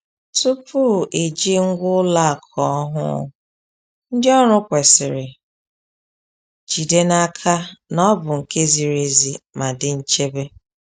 Tupu eji ngwa ụlọ akụ ọhụụ, ndị ọrụ kwesịrị jide n’aka na ọ bụ nke ziri ezi ma dị nchebe.